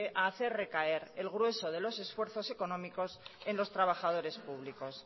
a hacer recaer el grueso de los esfuerzos económicos en los trabajadores públicos